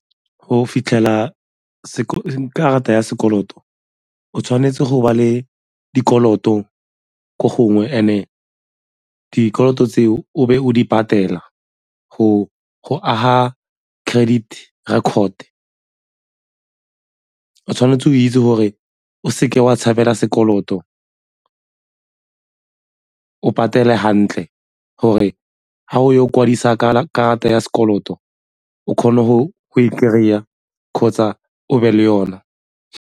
Go fitlhela karata ya sekoloto, o tshwanetse go ba le dikoloto ko gongwe and-e dikoloto tse o be o di patela go aga credit record, o tshwanetse o itse gore o seke wa tshabela sekoloto, o patele hantle gore ga o kwadisa karata ya sekoloto o kgona go e kry-a kgotsa o be le yona.